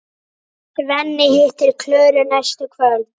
Svenni hittir Klöru næstu kvöld.